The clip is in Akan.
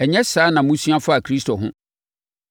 Ɛnyɛ saa na mosua faa Kristo ho.